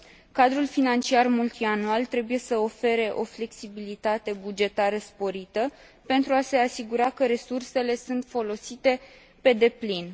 Cadrul Financiar Multianual trebuie să ofere o flexibilitate bugetară sporită, pentru a se asigura că resursele sunt folosite pe deplin.